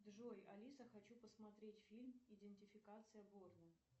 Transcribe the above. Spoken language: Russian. джой алиса хочу посмотреть фильм идентификация борна